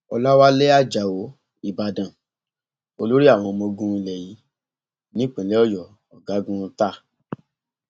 ọlàwálẹ ajáò ìbàdàn olórí àwọn ọmọọgùn ilé yìí nípìnlẹ ọyọ ọgágun ta